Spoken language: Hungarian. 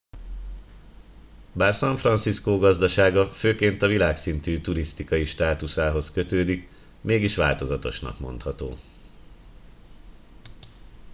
bár san fracisco gazdasága főként a világszintű turisztikai státuszához kötődik mégis változatosnak mondható